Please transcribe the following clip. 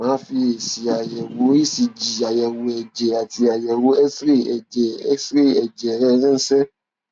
mà á fi èsì àyẹwò ecg àyẹwò ẹjẹ àti àyẹwò xray ẹjẹ xray ẹjẹ rẹ ránṣẹ